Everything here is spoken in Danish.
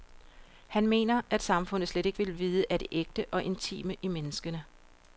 Han mener, at samfundet slet ikke vil vide af det ægte og intime i menneskene.